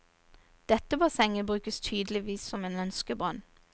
Dette bassenget brukes tydeligvis som en ønskebrønn.